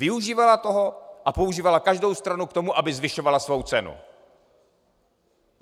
Využívala toho a používala každou stranu k tomu, aby zvyšovala svou cenu.